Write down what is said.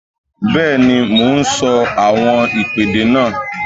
Bẹ́ẹ̀ni, mo ń sọ àwọn ìpèdè náà